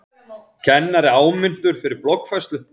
Kennari áminntur fyrir bloggfærslu